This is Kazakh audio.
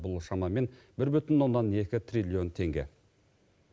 бұл шамамен бір бүтін оннан екі триллион теңге